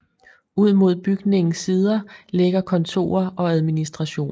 Ud mod bygningens sider ligger kontorer og administration